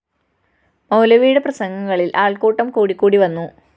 മൗലവിയുടെ പ്രസംഗങ്ങളിൽ ആൾകൂട്ടം കൂടിക്കൂടി വന്നു